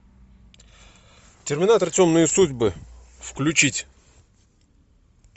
терминатор темные судьбы включить